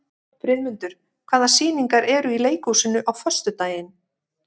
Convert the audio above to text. Friðmundur, hvaða sýningar eru í leikhúsinu á föstudaginn?